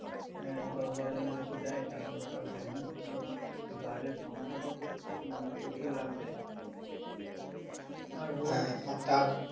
আহ দশ বারো জন হয়তো দেয় তারপরে তো আর দেয় না কারণ blood এর সংখ্যাটাও তো উম প্রচুর লাগবে আর